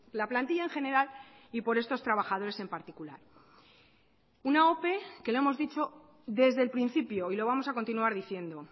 la plantilla en general y por estos trabajadores en particular una ope que lo hemos dicho desde el principio y lo vamos a continuar diciendo